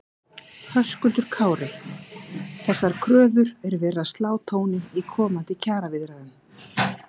Höskuldur Kári: Þessar kröfur er verið að slá tóninn í komandi kjaraviðræðum?